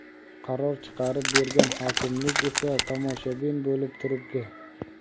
qaror chiqarib bergan hokimlik esa tomoshabin bo‘lib turibdi.